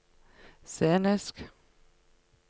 scenisk